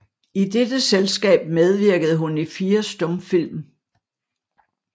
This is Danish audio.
I dette selskab medvirkede hun i fire stumfilm